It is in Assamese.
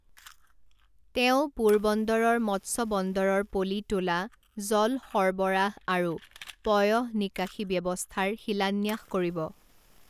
তেওঁ পোৰবন্দৰৰ মৎস্য বন্দৰৰ পলি তোলা, জল সৰবৰাহ আৰু পয়ঃনিকাশি ব্যৱস্থাৰ শিলান্যাস কৰিব।